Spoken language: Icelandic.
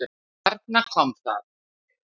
Þarna kom það!